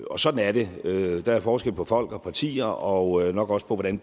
og sådan er det der er forskel på folk og partier og nok også på hvordan